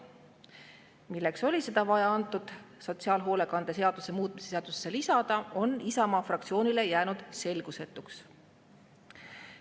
Milleks oli seda vaja sotsiaalhoolekande seaduse muutmise seadusesse lisada, on Isamaa fraktsioonile jäänud selgusetuks.